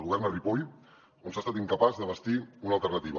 governa a ripoll on s’ha estat incapaç de bastir una alternativa